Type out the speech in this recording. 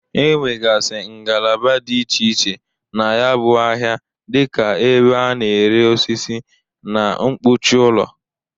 Enwegasị ngalaba dị iche iche na ya bụ ahịa dị ka ebe a na-ere osisi, na mkpuchi ụlọ.